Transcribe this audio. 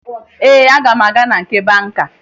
Ee, aga m aga na nke banka